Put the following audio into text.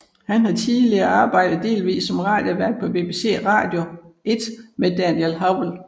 Han har tidligere arbejdet delvist som radiovært på BBC Radio 1 med Daniel Howell